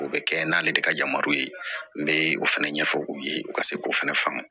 O bɛ kɛ n'ale de ka yamaruw ye n bɛ o fɛnɛ ɲɛfɔ u ye u ka se k'o fɛnɛ faamu